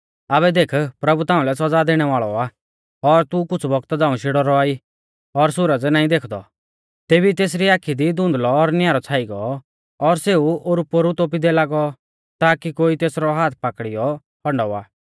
आबै देख प्रभु ताउंलै सौज़ा दैणै वाल़ौ आ और तू कुछ़ बौगता झ़ांऊ शेड़ौ रौआ ई और सुरज नाईं देखदौ तेभी तेसरी आखी दी धुंधलौ और न्यारौ छ़ाई गौ और सेऊ ओरुपोरु तोपींदै लागौ ताकी कोई तेसरौ हाथ पाकड़ीयौ हण्डावा